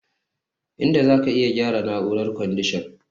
Inda zaka iya gyara na'urar kwandishan